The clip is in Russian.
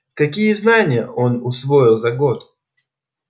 какие знания он усвоил за год